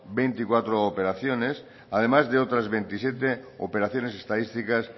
veinticuatro operaciones además de otras veintisiete operaciones estadísticas